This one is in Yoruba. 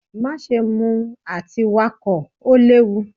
Maṣe mu ati Wakọ! o lewu.